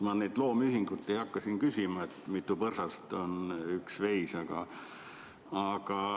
Ma neid loomühikuid ei hakka küsima, et mitu põrsast on üks veis.